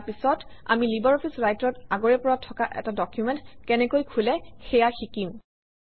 ইয়াৰ পিছত আমি LibreOffice Writer অত আগৰে পৰা থকা এটা ডকুমেণ্ট কেনেকৈ খোলে সেয়া শিকিম